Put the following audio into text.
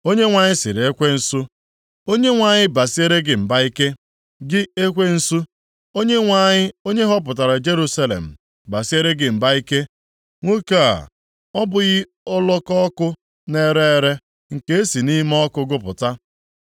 Onyenwe anyị sịrị ekwensu, “ Onyenwe anyị basiere gị mba ike, gị ekwensu. Onyenwe anyị, onye họpụtara Jerusalem, basiere gị mba ike. Nwoke a, ọ bụghị ọlọkọ ọkụ na-ere ere, nke e si nʼime ọkụ gụpụta?”